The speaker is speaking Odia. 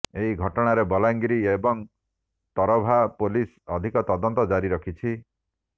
ଏହି ଘଟଣାରେ ବଲାଙ୍ଗିର ଏବଂ ତରଭା ପୋଲିସ ଅଧିକ ତଦନ୍ତ ଜାରି ରଖିଛି